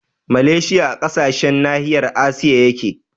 Maleshiya a ƙarƙashin nahiyar asiya yake